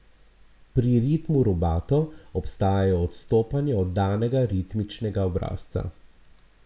Pri ritmu rubato obstajajo odstopanja od danega ritmičnega obrazca.